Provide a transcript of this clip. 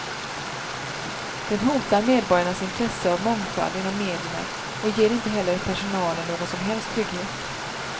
Den hotar medborgarnas intresse av mångfald inom medierna och ger inte heller personalen någon som helst trygghet.